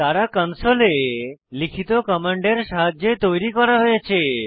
তারা কনসোলে লিখিত কমান্ডের সাহায্যে তৈরি করা হয়েছে